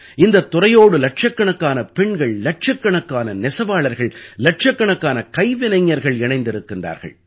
இந்தத் துறையோடு இலட்சக்கணக்கான பெண்கள் இலட்சக்கணக்கான நெசவாளர்கள் இலட்சக்கணக்கான கைவினைஞர்கள் இணைந்திருக்கின்றார்கள்